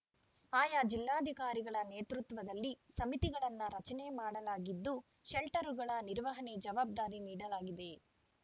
ಆಯಾ ಜಿಲ್ಲಾಧಿಕಾರಿಗಳ ನೇತೃತ್ವದಲ್ಲಿ ಸಮಿತಿಗಳನ್ನು ರಚನೆ ಮಾಡಲಾಗಿದ್ದು ಶೆಲ್ಟರ್‌ಗಳ ನಿರ್ವಹಣೆ ಜವಾಬ್ದಾರಿ ನೀಡಲಾಗಿದೆ